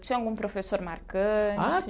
Tinha algum professor marcante?